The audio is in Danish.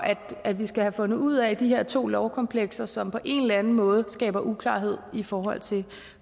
at vi skal have fundet ud af de her to lovkomplekser som på en eller anden måde skaber uklarhed i forhold til